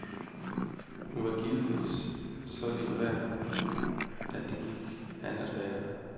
Hun var givetvis så elitær, det gik an at være.